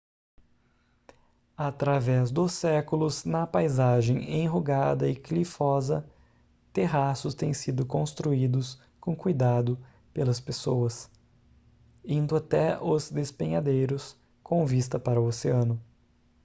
através dos séculos na paisagem enrugada e clivosa terraços têm sido construídos com cuidado pelas pessoas indo até os despenhadeiros com vista para o oceano